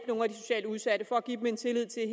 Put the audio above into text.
nogle af de socialt udsatte for at give dem en tillid til at